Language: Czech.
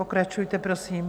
Pokračujte, prosím.